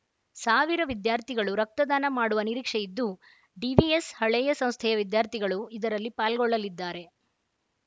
ಸಾವಿರ ವಿದ್ಯಾರ್ಥಿಗಳು ರಕ್ತದಾನ ಮಾಡುವ ನಿರೀಕ್ಷೆ ಇದ್ದು ಡಿವಿಎಸ್‌ ಹಳೇಯ ಸಂಸ್ಥೆಯ ವಿದ್ಯಾರ್ಥಿಗಳು ಇದರಲ್ಲಿ ಪಾಲ್ಗೊಳ್ಳಲಿದ್ದಾರೆ